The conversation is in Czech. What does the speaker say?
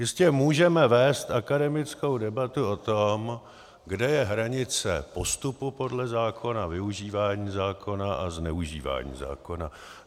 Jistě můžeme vést akademickou debatu o tom, kde je hranice postupu podle zákona, využívání zákona a zneužívání zákona.